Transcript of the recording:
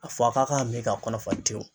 A fɔ a k'a ka min ka kɔnɔ fa tewu.